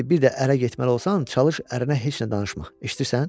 İşdi bir də ərə getməli olsan, çalış ərinə heç nə danışma, eşidirsən?